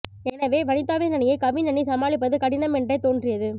எனவே வனிதாவின் அணியை கவின் அணி சமாளிப்பது கடினம் என்றே தோன்றியது